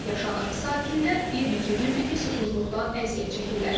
Sakinlər bir neçə gündür ki, susuzluqdan əziyyət çəkirlər.